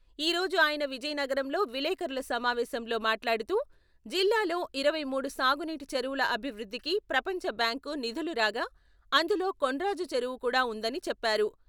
ఈ రోజు ఆయన విజయనగరంలో విలేఖరుల సమావేశంలో మాట్లాడుతూ, జిల్లాలో ఇరవై మూడు సాగునీటి చెరువుల అభివృద్ధికి ప్రపంచ బ్యాంకు నిధులు రాగా, అందులో కొండర్రాజు చెరువు కూడా ఉందని చెప్పారు.